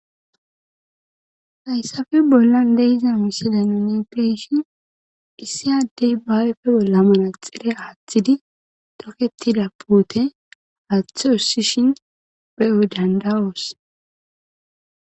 Hayssafe bollan leyiza wissila nonepeyshin issi addey baawepfe bolla mana xire aaththidi toketida puote aaththe ussishin pe7o dandawoos